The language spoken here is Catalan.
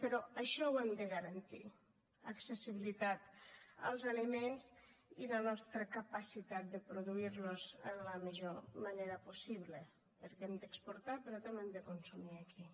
però això ho hem de garantir accessibilitat als aliments i la nostra capacitat de produir los en la millor manera possible perquè hem d’exportar però també hem de consumir aquí